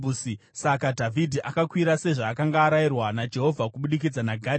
Saka Dhavhidhi akakwira sezvaakanga arayirwa naJehovha kubudikidza naGadhi.